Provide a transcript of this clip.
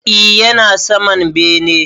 E, yana saman bene.